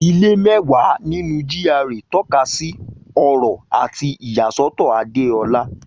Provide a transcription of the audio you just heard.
Ilé mẹ́wàá nínú GRA tọ́ka sí ọrọ̀ àti ìyàsọ́tọ̀ Adeola.